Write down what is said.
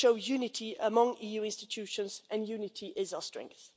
It would show unity among the EU institutions, and unity is our strength.